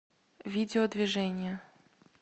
видео движение